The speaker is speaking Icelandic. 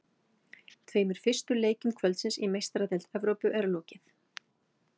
Tveimur fyrstu leikjum kvöldsins í Meistaradeild Evrópu er lokið.